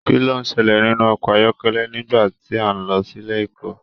Kín ló ṣẹlẹ nínú ọkọ ayọkẹlẹ nígbà tí a n lọ sílé ẹ̀kọ́?